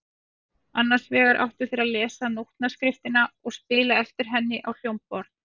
Annars vegar áttu þeir að lesa nótnaskriftina og spila eftir henni á hljómborð.